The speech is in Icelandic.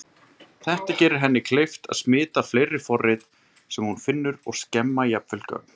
Þetta gerir henni kleift að smita fleiri forrit sem hún finnur og skemma jafnvel gögn.